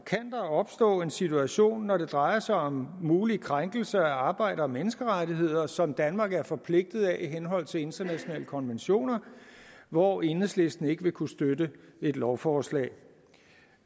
opstå en situation når det drejer sig om mulige krænkelser af arbejder og menneskerettigheder som danmark er forpligtet af i henhold til internationale konventioner hvor enhedslisten ikke vil kunne støtte et lovforslag